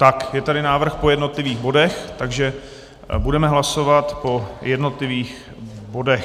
Tak je tady návrh po jednotlivých bodech, takže budeme hlasovat po jednotlivých bodech.